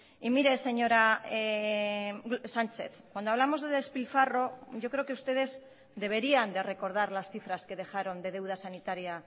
y mire señora sánchez cuando hablamos de despilfarro yo creo que ustedes deberían de recordar las cifras que dejaron de deuda sanitaria